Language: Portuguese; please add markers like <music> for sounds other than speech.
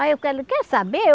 Aí eu, <unintelligible> quer saber?